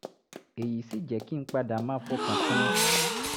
èyí sì jẹ́ kí n padà máa fọkàn tán an